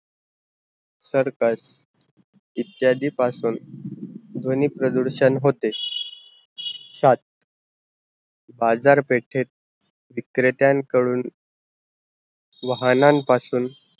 circus, इद्यादी पासून ध्वनी प्रदुरषण होते, सात बाज़ार पेठेत विक्रेत्यान कडून वाहनांन पासून